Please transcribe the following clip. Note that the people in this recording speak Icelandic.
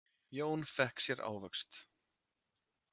Jón fékk sér ávöxt.